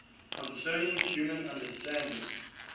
concerning human understanding